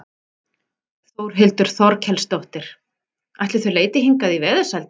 Þórhildur Þorkelsdóttir: Ætli þau leiti hingað í veðursældina?